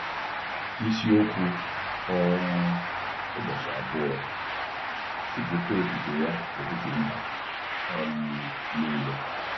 Isiokwu um Ụbọchị Abụọ: “Kwupụta Otuto Ya n’etiti Mba um Nile”